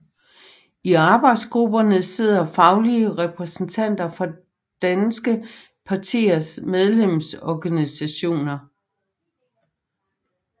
I arbejdsgrupperne sidder faglige repræsentanter fra Danske Patienters medlemsorganisationer